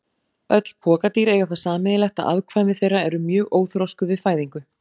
Öll pokadýr eiga það sameiginlegt að afkvæmi þeirra eru mjög óþroskuð við fæðingu.